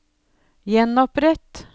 gjenopprett